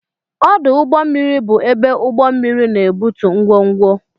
Ọdụ ụgbọ mmiri bụ ebe ụgbọ mmiri na-ebutu ngwongwo.